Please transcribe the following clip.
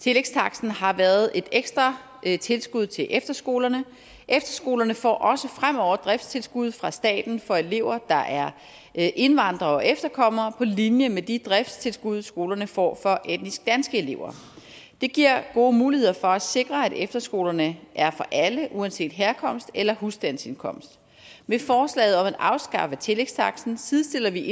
tillægstaksten har været et ekstra tilskud til efterskolerne efterskolerne får også fremover et driftstilskud fra staten for elever der er er indvandrere og efterkommere på linje med de driftstilskud skolerne får for etnisk danske elever det giver gode muligheder for at sikre at efterskolerne er for alle uanset herkomst eller husstandsindkomst med forslaget om at afskaffe tillægstaksten sidestiller vi